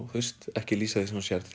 ekki lýsa því sem þú sérð